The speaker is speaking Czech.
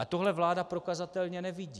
A tohle vláda prokazatelně nevidí.